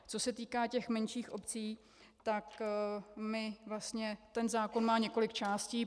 Co se týká těch menších obcí, tak ten zákon má několik částí.